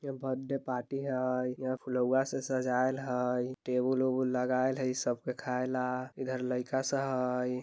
Birthday party हई flower से सजायल हई टेबल - उबल लगायल हई यह सब के खायल ला इधर लइका सब हई।